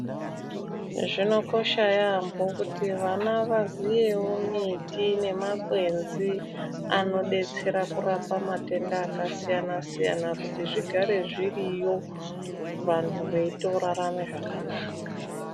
Zvinokosha yambo kuti vana vazivewo miti nemakwenzi anodetsera kurapa matenda akasiyana siyana kuti zvigare zviriyo urarame zvakanaka.